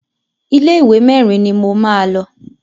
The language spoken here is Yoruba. Ilé ìwé mẹ́rin ni mo máa lọ.